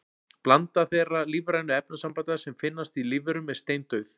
Blanda þeirra lífrænu efnasambanda sem finnast í lífverum er steindauð.